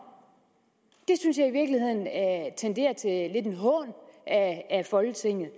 det synes jeg i virkeligheden tenderer til en hån af folketinget